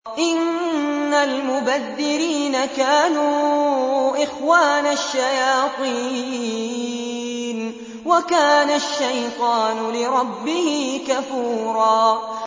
إِنَّ الْمُبَذِّرِينَ كَانُوا إِخْوَانَ الشَّيَاطِينِ ۖ وَكَانَ الشَّيْطَانُ لِرَبِّهِ كَفُورًا